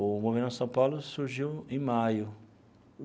O Movimento Nossa São Paulo surgiu em maio.